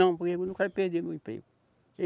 Não, porque eu não quero perder meu emprego.